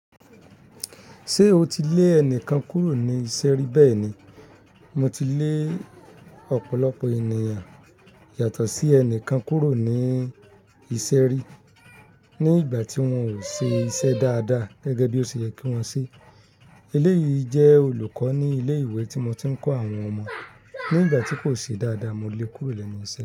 Ṣé o ti lé ẹnìkan kúrò ní ìṣe ri bẹ́ẹ̀ni, mo ti lé ọ̀pọ̀lọpọ̀ ènìyàn yàtọ̀ sí ẹnìkan kúrò ní ìṣe ri ní ìgbà tí wọ́n ò ṣe iṣẹ́ dáadáa gẹ́gẹ́ bí ó ṣe yẹ kí wọ́n ṣe. Eléyìí jẹ́ olùkọ́ ní ilé ìwé tí mo ti ń kọ́ àwọn ọmọ. Ní ìgbà tí kò ṣe dáadáa mo lè kúrò lẹ́nu iṣẹ́.